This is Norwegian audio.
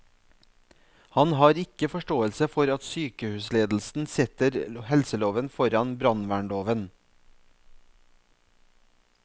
Han har ikke forståelse for at sykehusledelsen setter helseloven foran brannvernloven.